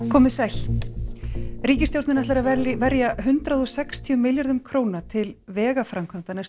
komiði sæl ríkisstjórnin ætlar að verja hundrað og sextíu milljörðum króna til vegaframkvæmda næstu